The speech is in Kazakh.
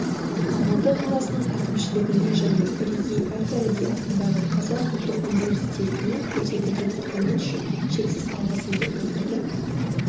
алматы қаласының әкімшілігіне және бірегей әл-фараби атындағы қазақ ұлттық университетіне көрсетілген құрмет үшін шексіз алғысымды білдіргім